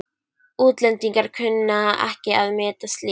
Útlendingar kunna ekki að meta slíkt.